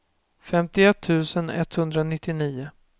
femtioett tusen etthundranittionio